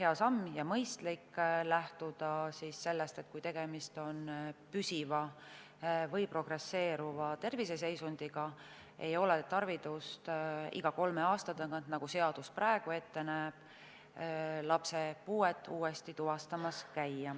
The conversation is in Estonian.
hea ja mõistlik lähtuda sellest, et kui tegemist on püsiva või progresseeruva terviseseisundiga, ei ole tarvidust iga kolme aasta tagant, nagu seadus praegu ette näeb, lapse puuet tuvastamas käia.